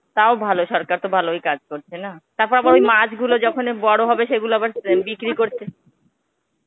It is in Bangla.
তাও ভালো সরকার তো ভালই কাজ করছে না? তারপর আবার ওই মাছগুলো যখন বড় হবে সেগুলো আবার বিক্রি করতে